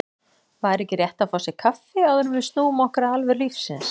Væri ekki rétt að fá sér kaffi, áður en við snúum okkur að alvöru lífsins.